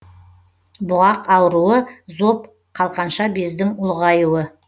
бұғақ ауруы зоб қалқанша бездің ұлғаюы